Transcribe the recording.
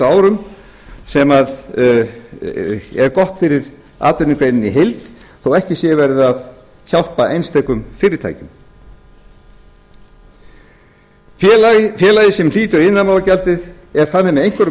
árum sem er gott fyrir atvinnugreinina í heild þó ekki sé verið að hjálpa einstökum fyrirtækjum félagið sem hlýtur iðnaðarmálagjaldið er þannig með einhverjum